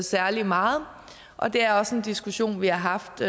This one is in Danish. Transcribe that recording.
særlig meget og det er også en diskussion vi har haft